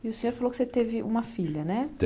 E o senhor falou que você teve uma filha, né?